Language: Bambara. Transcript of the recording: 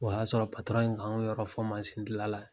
O y'a sɔrɔ in k'anw yɔrɔ fɔ masindilanla